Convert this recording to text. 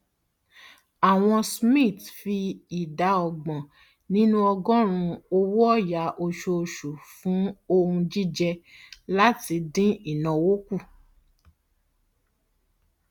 awon smiths fi ìdá ọgbọn nínú ọgọọrún owóọyà osoòsù fún ohun jíjẹ láti dín ìnáwó kù